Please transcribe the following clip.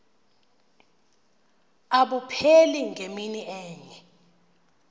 abupheli ngemini enye